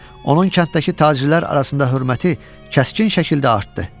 Onun kənddəki tacirlər arasında hörməti kəskin şəkildə artdı.